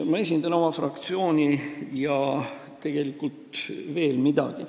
Ma esindan oma fraktsiooni ja tegelikult veel kedagi.